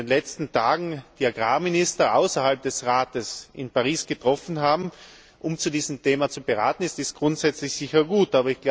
Wenn sich in den letzten Tagen die Agrarminister außerhalb des Rates in Paris getroffen haben, um zu diesem Thema zu beraten, ist dies grundsätzlich sicher gut.